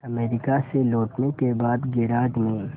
America से लौटने के बाद गैराज में